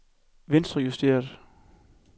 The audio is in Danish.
venstrejusteret